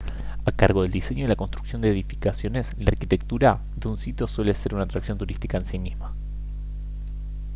a cargo del diseño y la construcción de edificaciones la arquitectura de un sitio suele ser una atracción turística en sí misma